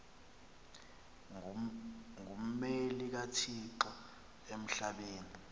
ngummeli kathixo emhlabeni